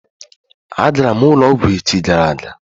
A garam ulo ogwu echi gara aga